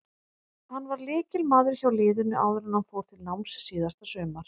Hann var lykilmaður hjá liðinu áður en hann fór til náms síðasta sumar.